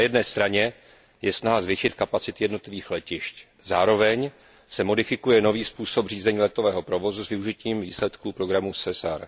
Na jedné straně je snaha zvětšit kapacity jednotlivých letišť, zároveň se modifikuje nový způsob řízení letového provozu s využitím výsledků programu SESAR.